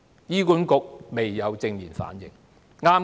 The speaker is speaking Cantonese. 醫管局未有正面反應。